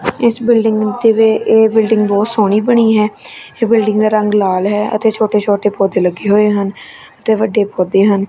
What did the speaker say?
ਇਸ ਬਿਲਡਿੰਗ ਤੇਵੇ ਇਹ ਬਿਲਡਿੰਗ ਬਹੁਤ ਸੋਹਣੀ ਬਣੀ ਹੈ ਇਹ ਬਿਲਡਿੰਗ ਦਾ ਰੰਗ ਲਾਲ ਹੈ ਅਤੇ ਛੋਟੇ ਛੋਟੇ ਪੌਦੇ ਲੱਗੇ ਹੋਏ ਹਨ ਤੇ ਵੱਡੇ ਪੌਦੇ ਹਨ।